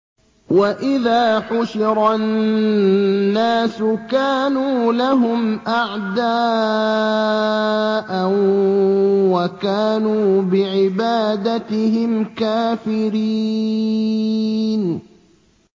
وَإِذَا حُشِرَ النَّاسُ كَانُوا لَهُمْ أَعْدَاءً وَكَانُوا بِعِبَادَتِهِمْ كَافِرِينَ